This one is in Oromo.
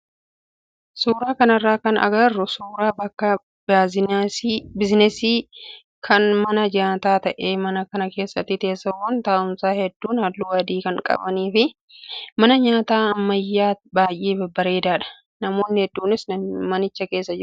suuraa kanarraa kan agarru suuraa bakka biizinasii kan mana nyaataa ta'ee mana kana keessa teessoowwan taa'umsaa hedduun halluu adii kan qabanii fi mana nyaataa ammayyaa baay'ee bareedaadha. Namoonni heedduunis manicha keessa jiru.